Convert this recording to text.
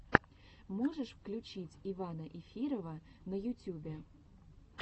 можешь включить ивана эфирова на ютюбе